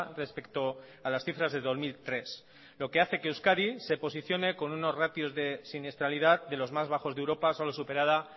respecto a las cifras de dos mil tres lo que hace que euskadi se posicione con unos ratios de siniestralidad de los más bajos de europa solo superada